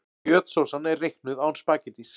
Kjötsósan er reiknuð án spaghettís.